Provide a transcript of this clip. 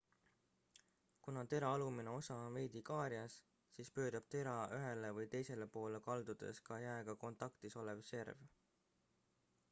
kuna tera alumine osa on veidi kaarjas siis pöörab tera ühele või teisele poole kaldudes ka jääga kontaktis olev serv